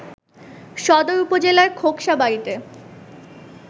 সদর উপজেলার খোকসাবড়িতে